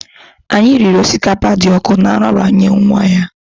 Anyị riri osikapa dị ọkụ na nraranye nwa ya